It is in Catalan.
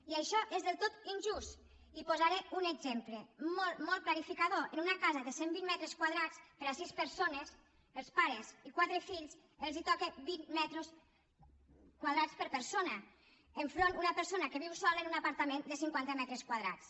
i això és del tot injust i en posaré un exemple molt molt clarificador en una casa de cent vint metres quadrats per a sis persones els pares i quatre fills toquen vint metres quadrats per persona enfront d’una persona que viu sola en un apartament de cinquanta metres quadrats